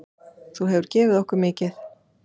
Þú hefur gefið okkur mikið.